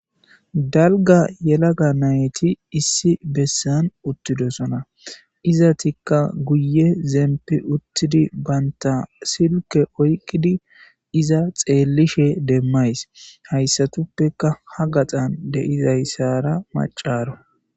Dalga yelaga nayti issi besan uthidosona izetika guye zempi uthidi banta silke oyqidi iza xeelishe demays haysatupeka ha gaxan de'izasara macaro.